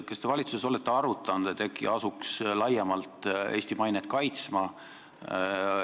Kas te valitsuses olete arutanud, et äkki asuks laiemalt Eesti mainet kaitsma?